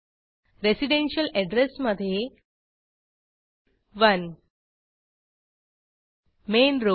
residential address मध्ये 1 main road